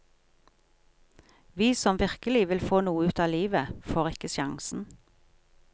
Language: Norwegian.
Vi som virkelig vil få noe ut av livet, får ikke sjansen.